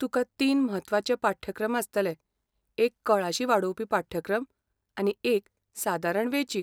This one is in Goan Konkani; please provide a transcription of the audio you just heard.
तुका तीन म्हत्वाचे पाठ्यक्रम आसतले, एक कळाशी वाडोवपी पाठ्यक्रम, आनी एक सादारण वेंचीक.